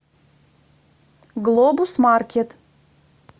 глобус маркет